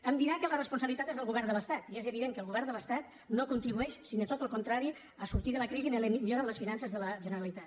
em dirà que la responsabilitat és del govern de l’estat i és evident que el govern de l’estat no contribueix sinó tot el contrari a sortir de la crisi en la millora de les finances de la generalitat